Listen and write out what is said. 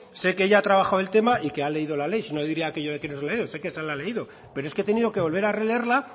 sé que ella ha trabajado el tema y que ha leído la ley sino diría aquello de que leer sé que se la ha leído pero es que he tenido que volver a releerla